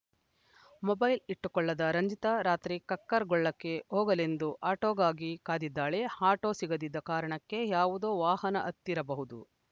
mobile ಇಟ್ಟುಕೊಳ್ಳದ ರಂಜಿತಾ ರಾತ್ರಿ ಕಕ್ಕರಗೊಳ್ಳಕ್ಕೆ ಹೋಗಲೆಂದು ಆಟೋಗಾಗಿ ಕಾದಿದ್ದಾಳೆ ಆಟೋ ಸಿಗದಿದ್ದ ಕಾರಣಕ್ಕೆ ಯಾವುದೋ ವಾಹನ ಹತ್ತಿರಬಹುದು